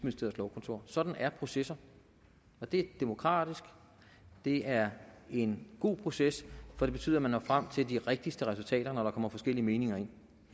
lovkontor sådan er processer det er demokratisk det er en god proces for det betyder at man når frem til de rigtigste resultater når der kommer forskellige meninger ind